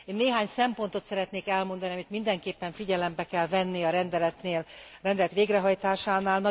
Én néhány szempontot szeretnék elmondani, amit mindenképpen figyelembe kell venni a rendeletnél, a rendelet végrehajtásánál.